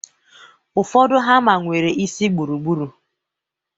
Ụfọdụ hama nwere isi gburugburu